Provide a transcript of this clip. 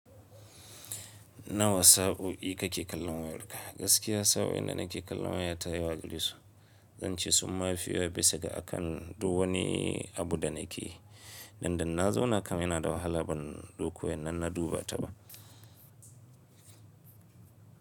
Nawa saɓo'i kake kallon wayarka? Gaskiya sa'o'in danake kallon wayata yawa gari su. Zan ce summa fi bisa ga akan duk wani abu da nake yi. Dan da na zauna kam yana da wahala ban ɗauko wayan nan na duba ta ba.